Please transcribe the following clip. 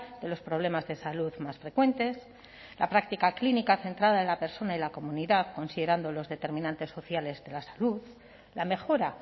de los problemas de salud más frecuentes la práctica clínica centrada en la persona y la comunidad considerando los determinantes sociales de la salud la mejora